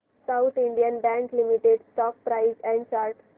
south Indian Bank Limited stock price and chart